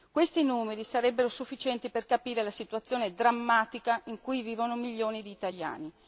Questi numeri sarebbero sufficienti per capire la situazione drammatica in cui vivono milioni di italiani.